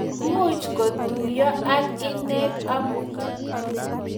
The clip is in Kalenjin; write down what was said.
Much kotuyo ak inet amut